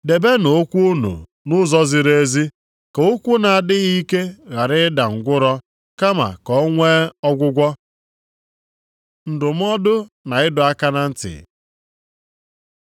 Debenụ ụkwụ unu nʼụzọ ziri ezi, + 12:13 \+xt Ilu 4:26\+xt* ka ụkwụ na-adịghị ike ghara ịda ngwụrọ, kama ka o nwe ọgwụgwọ. Ndụmọdụ na ịdọ aka na ntị